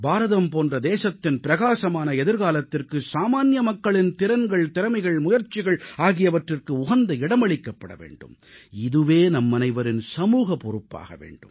பாரதம் போன்ற தேசத்தின் பிரகாசமான எதிர்காலத்திற்கு சாமான்ய மக்களின் திறன்கள் திறமைகள் முயற்சிகள் ஆகியவற்றிற்கு உகந்த இடமளிக்கப்பட வேண்டும் இதுவே நம்மனைவரின் சமூக பொறுப்பாக வேண்டும்